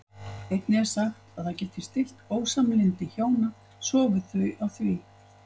Einnig er sagt að það geti stillt ósamlyndi hjóna sofi þau á því.